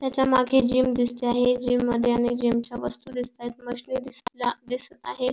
त्याच्या मागे जिम दिसते आहे जिम मध्ये अनेक जिम च्या वस्तू दिसत आहे मशीन दिसत आहेत.